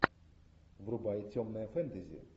врубай темное фэнтези